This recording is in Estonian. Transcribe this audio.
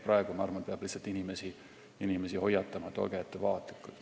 Praegu peab minu arvates lihtsalt inimesi hoiatama, et olge ettevaatlikud.